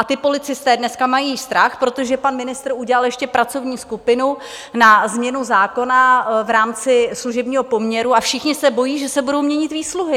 A ti policisté dneska mají strach, protože pan ministr udělal ještě pracovní skupinu na změnu zákona v rámci služebního poměru, a všichni se bojí, že se budou měnit výsluhy!